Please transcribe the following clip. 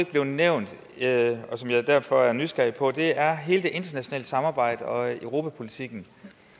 blev nævnt og som jeg derfor er nysgerrig på er hele det internationale samarbejde og europapolitikken